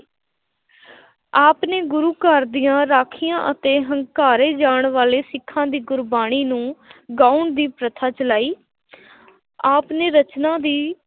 ਆਪ ਨੇ ਗੁਰੂ ਘਰ ਦੀਆਂ ਰਾਖੀਆਂ ਅਤੇ ਹੰਕਾਰੇ ਜਾਣ ਵਾਲੇ ਸਿੱਖਾਂ ਦੀ ਗੁਰਬਾਣੀ ਨੂੰ ਗਾਉਣ ਦੀ ਪ੍ਰਥਾ ਚਲਾਈ ਆਪ ਨੇ ਰਚਨਾ ਦੀ